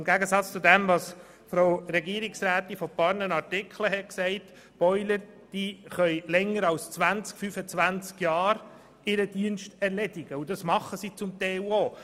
Im Gegensatz zu dem, was Frau Regierungsrätin Egger vorhin gesagt hat, können Boiler ihren Dienst länger als 20 bis 25 Jahre erweisen, und das tun sie zum Teil auch.